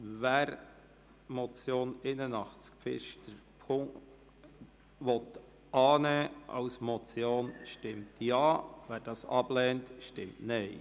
Wer die Motion Pfister, Traktandum 81, als Motion annehmen will, stimmt Ja, wer dies ablehnt, stimmt Nein.